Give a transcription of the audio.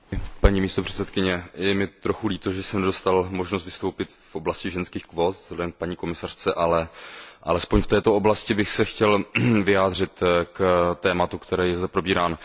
Paní předsedající, je mi trochu líto, že jsem nedostal možnost vystoupit v oblasti ženských kvót, vzhledem k paní komisařce, ale alespoň v této oblasti bych se chtěl vyjádřit k tématu, které je zde probíráno.